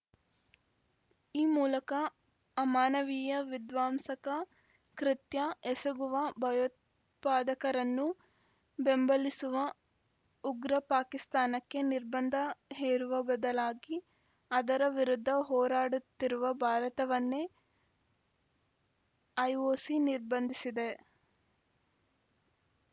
ಈ ಮೂಲಕ ಅಮಾನವೀಯ ವಿಧ್ವಂಸಕ ಕೃತ್ಯ ಎಸಗುವ ಭಯೋತ್ಪಾದಕರನ್ನು ಬೆಂಬಲಿಸುವ ಉಗ್ರ ಪಾಕಿಸ್ತಾನಕ್ಕೆ ನಿರ್ಬಂಧ ಹೇರುವ ಬದಲಾಗಿ ಅದರ ವಿರುದ್ಧ ಹೋರಾಡುತ್ತಿರುವ ಭಾರತವನ್ನೇ ಐಒಸಿ ನಿರ್ಬಂಧಿಸಿದೆ